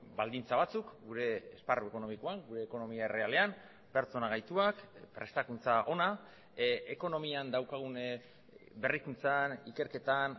baldintza batzuk gure esparru ekonomikoan gure ekonomia errealean pertsona gaituak prestakuntza ona ekonomian daukagun berrikuntzan ikerketan